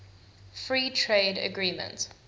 free trade agreement